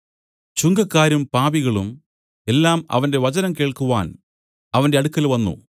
ചുങ്കക്കാരും പാപികളും എല്ലാം അവന്റെ വചനം കേൾക്കുവാൻ അവന്റെ അടുക്കൽ വന്നു